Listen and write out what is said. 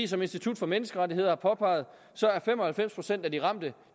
som institut for menneskerettigheder har påpeget er fem og halvfems procent af de ramte